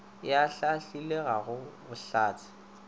e ahlaahlilwe ga go bohlatse